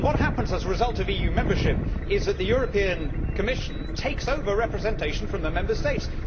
And what happens as a result of EU membership is that the European Commission takes over representation from the Member States.